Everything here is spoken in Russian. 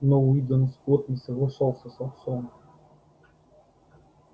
но уидон скотт не соглашался с отцом